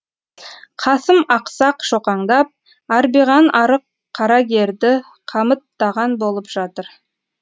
қасым ақсақ шоқаңдап арбиған арық қарагерді қамыттаған болып жатыр